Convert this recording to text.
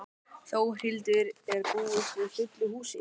Þórhildur, er búist við fullu húsi?